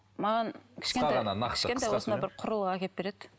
маған бір құрылғы әкеліп береді